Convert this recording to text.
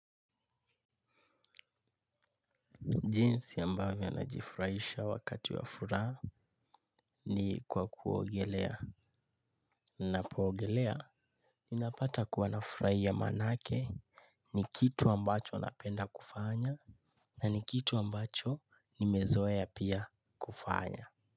Jinsi ambavyo najifurahisha wakati wa furaha ni kwa kuogelea. Napoogelea, ninapata kuwa nafurahia maanake ni kitu ambacho napenda kufanya, na ni kitu ambacho nimezoea pia kufanya.